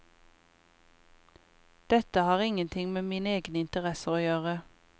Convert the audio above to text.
Dette har ingenting med mine egne interesser å gjøre.